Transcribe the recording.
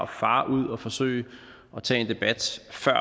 fare ud og forsøge at tage en debat før